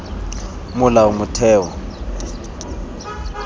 molaotheo